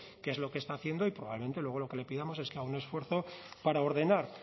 qué es lo que está haciendo y probablemente luego lo que le pidamos es que haga un esfuerzo para ordenar